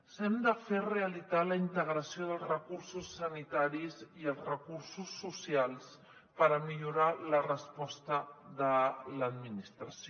hem de fer realitat la integració dels recursos sanitaris i els recursos socials per millorar la resposta de l’administració